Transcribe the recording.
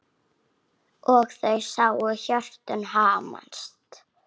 Og þau sáu hjörtun hamast.